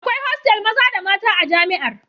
Akwai hostel maza da mata a jami'ar